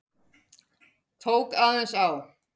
Tók aðeins á.